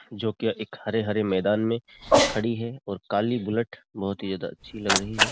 जो कि एक हरे-हरे मैदान में खड़ी है और काली बुलेट बहुत ही ज्यादा अच्छी लग रही है ।